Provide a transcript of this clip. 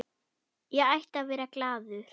Ég ætti að vera glaður.